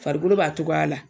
Farikolo b'a togoya la